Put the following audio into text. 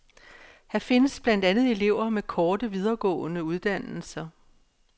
Her findes blandt andet elever med korte, videregående uddannelser.